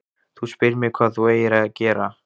Þú spyrð mig hvað þú eigir að gera.